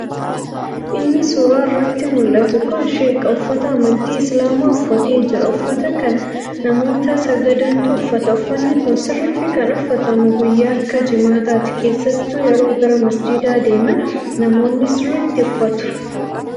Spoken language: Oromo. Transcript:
Inni suuraa irratti muldhatu kun sheeka. Uffata amantii islaamaa uffatee jira. Uffata kana namoota sagadutu uffata. uffanni kun sirritti kan uffatamu guyyaa akka jimaataati. keessattu yeroo gara masjiidaa deeman namoonni siritti uffatu.